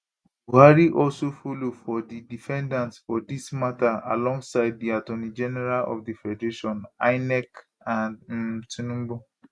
buhari also follow for di defendants for dis mata alongside di attorney general of di federation inec and um tinubu